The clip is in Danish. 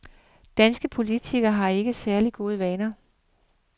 Danske politikere har ikke særlig gode vilkår.